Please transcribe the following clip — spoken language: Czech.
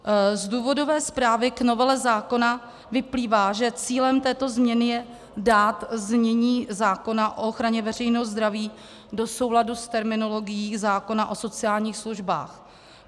Z důvodové zprávy k novele zákona vyplývá, že cílem této změny je dát znění zákona o ochraně veřejného zdraví do souladu s terminologií zákona o sociálních službách.